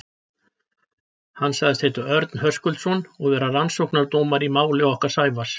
Hann sagðist heita Örn Höskuldsson og vera rannsóknardómari í máli okkar Sævars.